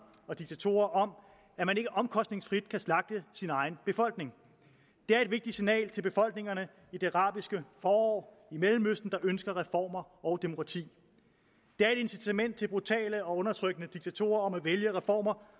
og diktatorer om at man ikke omkostningsfrit kan slagte sin egen befolkning det er et vigtigt signal til befolkningerne i det arabiske forår i mellemøsten der ønsker reformer og demokrati det er et incitament til brutale og undertrykkende diktatorer om at vælge reformer